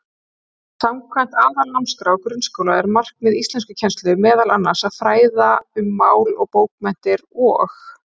Samkvæmt Aðalnámskrá grunnskóla er markmið íslenskukennslu meðal annars að fræða um mál og bókmenntir og.